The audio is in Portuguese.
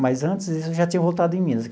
Mas antes eu já tinha voltado em Minas.